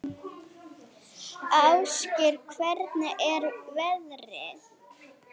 Ásgeir, hvernig er veðrið?